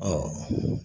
Ɔ